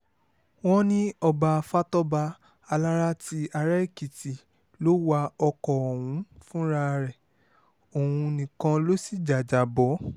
wọ́n ní ọba fatọ́ba alára ti ara-èkìtì ló wa ọkọ̀ ọ̀hún fúnra rẹ̀ òun nìkan ló sì jájábọ́